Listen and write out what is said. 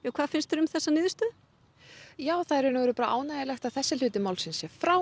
hvað finnst þér um þessa niðurstöðu það er ánægjulegt að þessi hluti málsins sé frá